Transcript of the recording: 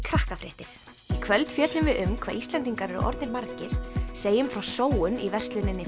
kvöld fjöllum við um hvað Íslendingar eru orðnir margir segjum frá sóun í versluninni